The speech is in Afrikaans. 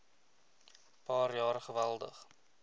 paar jaar geweldig